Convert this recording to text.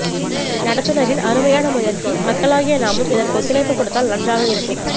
நடத்துனரின் அருமையான முயற்சி மக்களாகிய நாமும் இதற்கு ஒத்துழைப்பு கொடுத்தால் நன்றாக இருக்கு